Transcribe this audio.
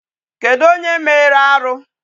Kedụ onye mere arụ?